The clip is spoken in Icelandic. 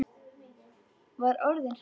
Var orðin hrædd!